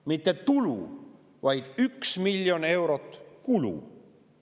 – mitte tulu, vaid 1 miljon eurot kulu.